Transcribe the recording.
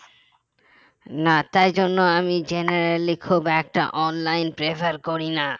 না তাই জন্য আমি generally খুব একটা online prefe করি না